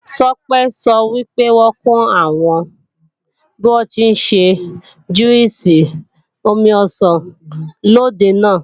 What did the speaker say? Tọ́pẹ́ sọ wípé wọ́n kọ́ àwọn bíwọ́n tí ń ṣe júwìsì omi ọsàn lòde náà